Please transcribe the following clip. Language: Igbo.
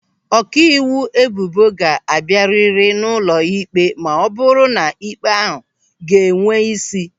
Ọkaiwu ebubo ga-abịa rịrị n'ụlọ ịkpe ma ọ bụrụ na ịkpe ahụ ga-enwe ísí.